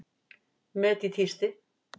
Met í tísti